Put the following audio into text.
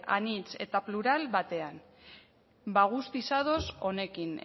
anitz eta plural batean bada guztiz ados honekin